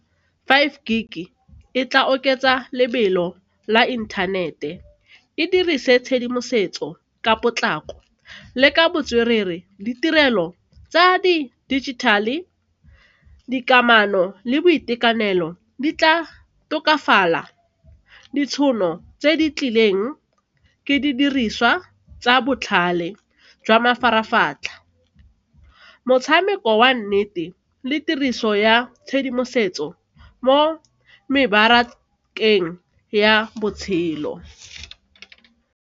Five G e tla oketsa lebelo la inthanete, e dirise tshedimosetso ka potlako le ka botswerere ditirelo tsa di-digital, dikamano le boitekanelo di tla tokafala, ditšhono tse di tlileng ke didiriswa tsa botlhale jwa mafaratlhatlha. Motshameko wa nnete le tiriso ya tshedimosetso mo mebarakeng ya botshelo.